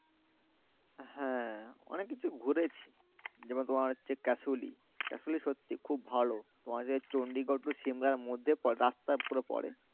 হ্যাঁ অনেক কিছু ঘুরেছি যেমন তোমার হচ্ছে Kasauli kasauli সত্যিই খুব ভালো তোমাদের চণ্ডীগড় পুরো সিমলার মধ্যে রাস্তার উপরে পড়ে